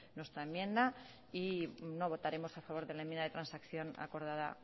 nuestra enmienda y no votaremos a favor de la enmienda de transacción acordada